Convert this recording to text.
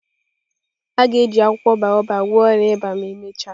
A ga-eji akwụkwọ baobab gwọọ ọrịa ịba ma emechaa.